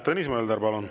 Tõnis Mölder, palun!